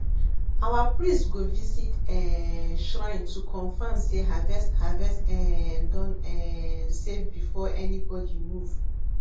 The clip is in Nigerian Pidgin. our priest go visit um shrine to confirm say harvest harvest um don um safe before anybody move